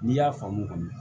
N'i y'a faamu kɔni